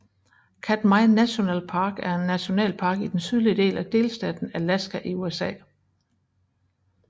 Katmai National Park er en nationalpark i den sydlige del af delstaten Alaska i USA